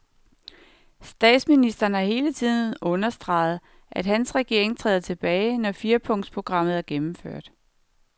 Statsministeren har hele tiden understreget, at hans regering træder tilbage, når firepunkts programmet er gennemført.